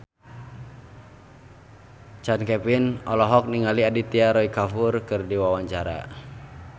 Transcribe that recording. Chand Kelvin olohok ningali Aditya Roy Kapoor keur diwawancara